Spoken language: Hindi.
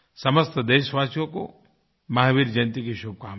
समस्त देशवासियों को महावीर जयंती की शुभकामनाएँ